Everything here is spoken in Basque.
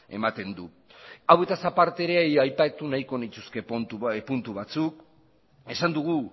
ematen du hauetaz aparte ere aipatu nahiko nituzke puntu batzuk esan dugu